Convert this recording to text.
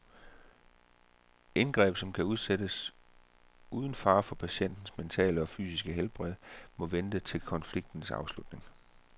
Indgreb, som kan udsættes uden fare for patientens mentale eller fysiske helbred, må vente til konfliktens afslutning.